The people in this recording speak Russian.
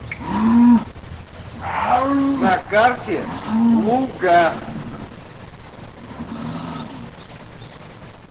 на карте луга